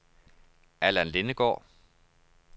Allan Lindegaard